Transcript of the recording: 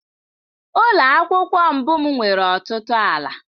Ụlọ akwụkwọ mbụ m nwere ọtụtụ ala.